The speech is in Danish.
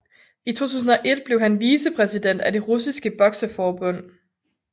I 2001 blev han vicepræsident af det russiske bokseforbund